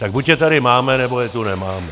Tak buď je tady máme, nebo je tu nemáme.